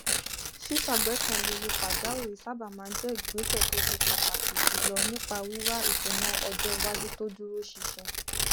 ṣíṣàgbékalẹ owó pàjáwìrì sábà máa n jẹ ìgbésẹ tó ṣe pàtàkì jùlọ nípa wíwá ìṣúná ọjọ iwájú tó dúró ṣinṣin